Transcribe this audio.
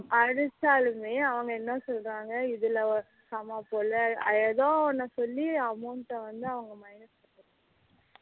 அடிச்சாலுமே அவங்க என்ன சொல்லுறாங்க இதுல வந்து ஏதோ வந்து சொல்லி amount வந்து அவங்க minus பண்ணிருவாங்க